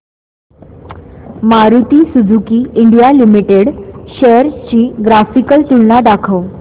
Maruti Suzuki India limited shares ची graphical तुलना दाखव